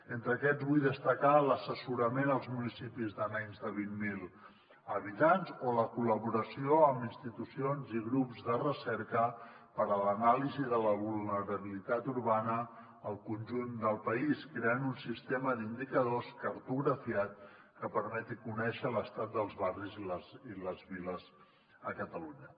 entre aquests vull destacar l’assessorament als municipis de menys de vint mil habitants o la col·laboració amb institucions i grups de recerca per a l’anàlisi de la vulnerabilitat urbana al conjunt del país creant un sistema d’indicadors cartografiat que permeti conèixer l’estat dels barris i les viles a catalunya